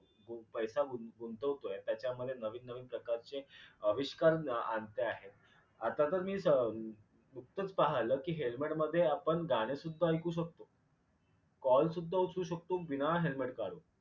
पैसा गू गुंतवयतोय त्याच्यामध्ये नवीन नवीन प्रकारचे आविष्कार आणते आहेत. आता तर मी स उतपंच पाहिल कि helmet मध्ये आपण गाणंसुद्धा ऐकू शकतो कॉल सुद्धा उचलू शकतो बिना helmet काढून.